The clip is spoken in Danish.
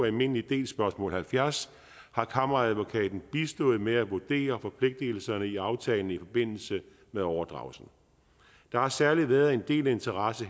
almindelig del spørgsmål halvfjerds har kammeradvokaten bistået med at vurdere forpligtigelserne i aftalen i forbindelse med overdragelsen der har særlig været en del interesse